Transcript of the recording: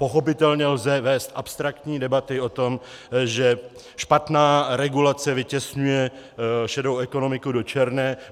Pochopitelně lze vést abstraktní debaty o tom, že špatná regulace vytěsňuje šedou ekonomiku do černé.